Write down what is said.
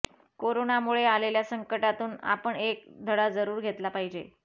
करोनामुळे आलेल्या संकटातून आपण एक धडा जरूर घेतला पाहिजे